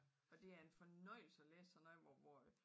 Og det er en fornøjelse at læse sådan noget hvor hvor at